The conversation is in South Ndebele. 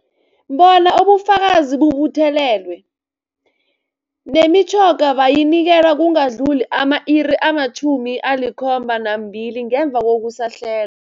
Bona ubufakazi bubuthelelwe, nemitjhoga bayinikelwe kungakadluli ama-iri ama-72 ngemva kokusahle